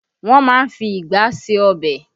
Wọn má ń fi igbá ṣe ọbẹ̀